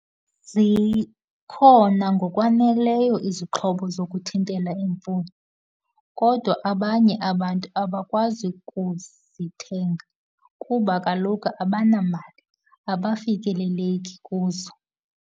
Zikhona ngokwaneleyo izixhobo zokuthintela imfuyo, kodwa abanye abantu abakwazi ukuzithenga kuba kaloku abanamali, abafikeleleki kuzo.